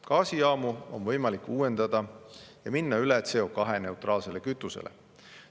Gaasijaamu on võimalik uuendada ja minna üle CO2-neutraalsele kütusele.